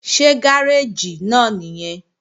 Ṣé gáréèjì náà nìyẹn?